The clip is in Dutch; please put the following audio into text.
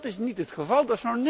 Dat is niet het geval.